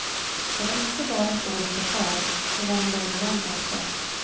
Det var inte bara ett dåligt försvar, det var en dålig lögn också.